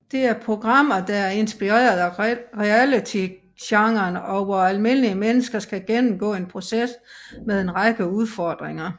Det er programmer der er inspireret af realitygenren og hvor almindelige mennesker skal gennemgå en proces med en række udfordringer